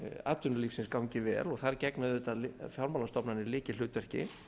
atvinnulífsins gangi vel og þar gegna auðvitað fjármálastofnanir lykilhlutverki